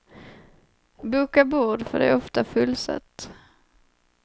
Boka bord, för det är ofta fullsatt.